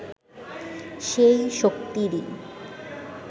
সেই শক্তিরই